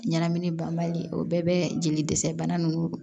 Ɲɛnamini banbali o bɛɛ bɛ jeli dɛsɛ bana ninnu